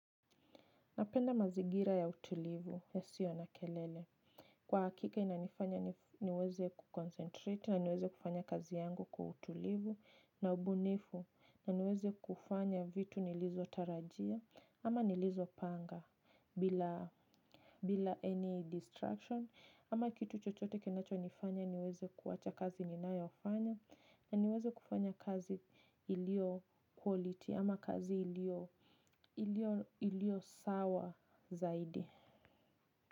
Napenda mazingira ya utulivu yasio na kelele. Kwa hakika inanifanya niweze kukoncentrate na niweze kufanya kazi yangu kwa utulivu na ubunifu na niweze kufanya vitu nilizotarajia ama nilizo panga bila any distraction. Ama kitu chochote kenacho nifanya niweze kuwacha kazi ninayofanya. Na niweze kufanya kazi ilio quality ama kazi ilio sawa zaidi.